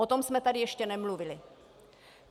O tom jsme tady ještě nemluvili.